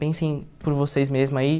Pensem por vocês mesmos aí.